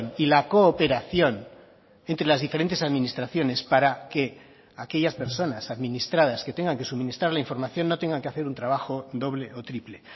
y la cooperación entre las diferentes administraciones para que aquellas personas administradas que tengan que suministrar la información no tengan que hacer un trabajo doble o triple